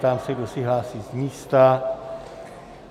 Ptám se, kdo se hlásí z místa.